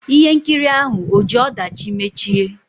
Ihe nkiri ahụ ò ji ọdachi mechie?